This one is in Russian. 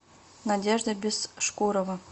надежда бесшкурова